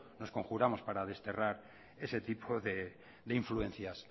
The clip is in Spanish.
nos conjuramos para desterrar ese tipo de influencias